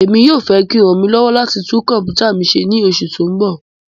Emi yoo fẹ ki o ran mi lọwọ lati tun kọmputa mi ṣe ni oṣu ti n bọ